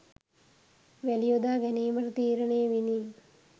වැලි යොදා ගැනීමට තීරණය විණි.